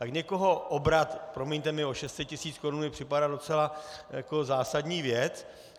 Tak někoho obrat, promiňte mi, o 600 tis. korun mi připadá docela jako zásadní věc.